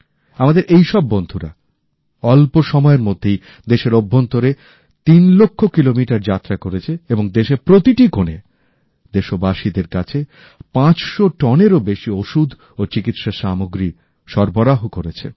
আমাদের এই সব বন্ধুরা অল্প সময়ের মধ্যেই দেশের অভ্যন্তরে তিন লক্ষ কিলোমিটার যাত্রা করেছে এবং দেশের প্রতিটি কোণে দেশবাসীদের কাছে ৫০০ টনেরও বেশি ওষুধ ও চিকিৎসা সামগ্রী সরবরাহ করেছে